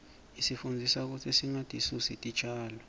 isifundzisa kutsi singatisusi titjalo